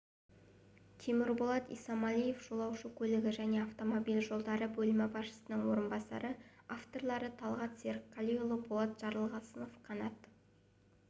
темірболат исамалиев жолаушы көлігі және автомобиль жолдары бөлімі басшысының орынбасары авторлары талғат серікқалиұлы болат жарылғасов қанат